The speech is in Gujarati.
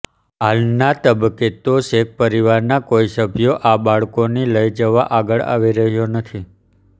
હાલના તબક્કે તો શેખ પરિવારના કોઈ સભ્યો આ બાળકોની લઇ જવા આગળ આવી રહ્યા નથી